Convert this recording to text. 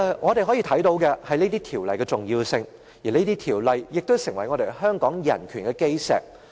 我們可以看到這項條例的重要性，而這項條例也成為香港人權的基石。